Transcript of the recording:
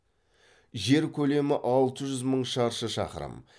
жер көлемі алты жүз мың шаршы шақырым